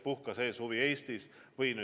Puhka see suvi Eestis!".